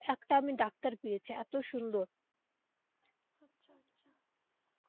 একটা আমি ডাক্তার পেয়েছি এতো সুন্দর.